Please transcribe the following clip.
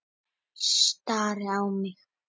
Stari á mig.